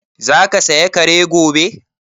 Za ka saya Kare gobe?